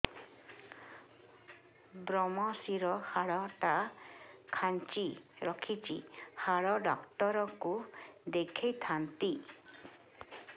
ଵ୍ରମଶିର ହାଡ଼ ଟା ଖାନ୍ଚି ରଖିଛି ହାଡ଼ ଡାକ୍ତର କୁ ଦେଖିଥାନ୍ତି